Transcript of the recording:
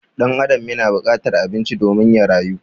Ɗan Adam yana bukatar abinci domin ya rayu